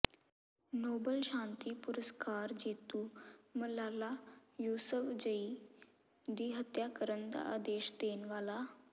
Nobel ਸ਼ਾਂਤੀ ਪੁਰਸਕਾਰ ਜੇਤੂ ਮਲਾਲਾ ਯੁਸੁਫਜ਼ਈ ਦੀ ਹੱਤਿਆ ਕਰਨ ਦਾ ਆਦੇਸ਼ ਦੇਣ ਵਾਲਾ